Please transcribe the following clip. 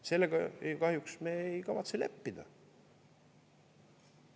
Sellega kahjuks me ei kavatse leppida.